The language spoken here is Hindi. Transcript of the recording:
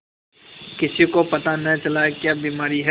किसी को पता न चला क्या बीमारी है